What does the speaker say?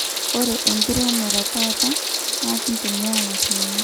Ore enkiremore etaata na kitumia mashinini